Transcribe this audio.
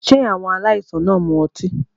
Ṣé àwọn aláìsàn náà ń mu ọtí?